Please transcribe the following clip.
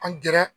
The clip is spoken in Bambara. An gɛrɛ